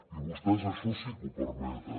i vostès això sí que ho permeten